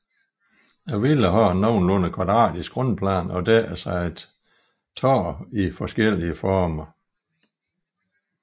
Villaen har en nogenlunde kvadratisk grundplan og dækkes af et tag i forskellige former